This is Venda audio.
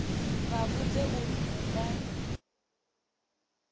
vha vhudze uri hu nga